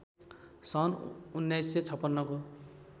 सन् १९५६ को